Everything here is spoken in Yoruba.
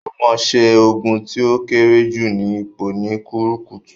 Omoṣẹ́ ogun tí ó kéré jù ni ipò ni rukútù